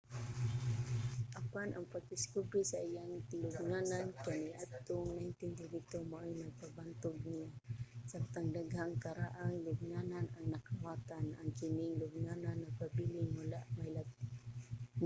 apan ang pagdiskubre sa iyang lubnganan kaniadtong 1922 maoy nagpabantog niya. samtang daghang karaang lubnganan ang nakawatan ang kining lubnganan nagpabiling wala mahilabti